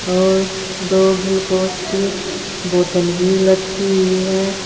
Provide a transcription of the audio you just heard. और दो ग्लूकोस की बोतल भी लटकी हुई है।